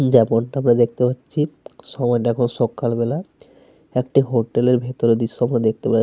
যেমনটা আমরা দেখতে পাচ্ছি সময়টা এখন সকালবেলা। একটা হোটেল এর ভেতরের দৃশ্য আমরা দেখতে পা --